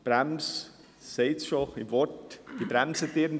Bei einer Bremse, dies sagt das Wort schon, bremst etwas.